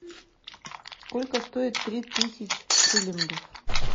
сколько стоит три тысяч шиллингов